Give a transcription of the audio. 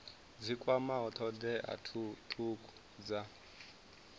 dzi kwamaho thodea thukhu dza